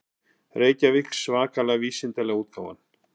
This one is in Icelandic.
Reykjavík: Svakalega vísindalega útgáfan.